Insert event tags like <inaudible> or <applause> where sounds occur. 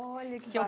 Olha que <unintelligible>